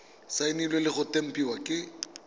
saenilwe le go tempiwa ke